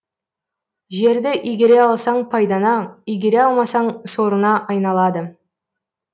жерді игере алсаң пайдаңа игере алмасаң сорыңа айналады